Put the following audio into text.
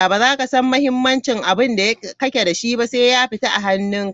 Ba za ka san muhimincin abinda kake da shi ba, sai ya fita a hanun ka.